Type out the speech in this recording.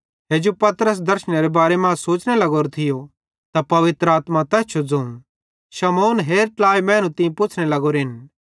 हेजू पतरस दर्शनेरे बारे मां सोचने लग्गोरो थियो त पवित्र आत्मा तैस जो ज़ोवं शमौन हेर ट्लाई मैनू तीं पुच्छ़ने लगोरेन